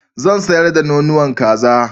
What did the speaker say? Zan sayar da nonuwan kazan